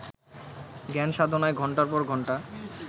জ্ঞানসাধনায় ঘণ্টার পর ঘণ্টা